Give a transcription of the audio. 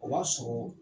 O b'a sɔrɔ